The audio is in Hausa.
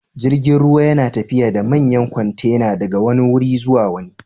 Jirgin ruwa yana tafiya da manyan kwantena daga wani wuri zuwa wani.